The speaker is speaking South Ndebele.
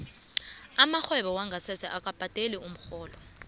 amarhwebo wongasese akabhadeli umrholo